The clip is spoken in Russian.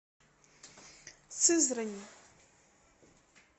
сызрани